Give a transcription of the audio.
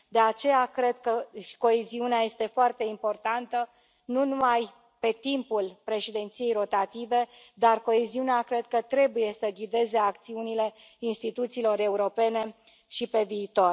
De aceea, cred că coeziunea este foarte importantă, nu numai pe timpul președinției rotative, dar coeziunea cred că trebuie să ghideze acțiunile instituțiilor europene și pe viitor.